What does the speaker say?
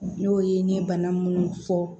N y'o ye n ye bana munnu fɔ